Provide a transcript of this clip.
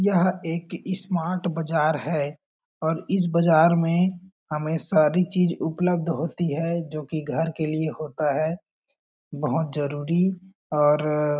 यह एक एस्मार्ट बाजार है और इस बाजार में हमें सारी चीज उपलब्ध होती है जो कि घर के लिए होता है बहुत जरूरी और --